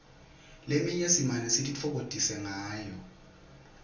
leminye simane sititfokotise ngayo